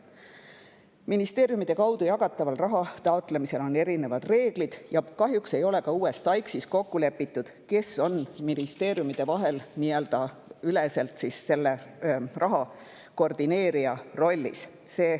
Ministeeriumide kaudu jagatava raha taotlemisel on erinevad reeglid ja kahjuks ei ole ka uues TAIKS‑is kokku lepitud, kes on ministeeriumideüleselt selle raha koordineerija rollis.